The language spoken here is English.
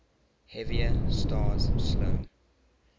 heavier stars slow